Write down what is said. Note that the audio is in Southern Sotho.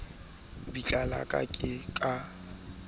bitla la ka le ka